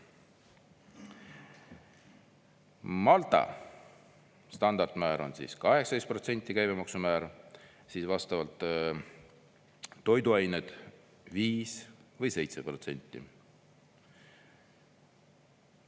Malta standardmäär on 18%, käibemaksu määr, vastavalt toiduained 5% või 7%.